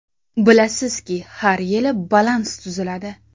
Bilasizki, har yili balans tuziladi.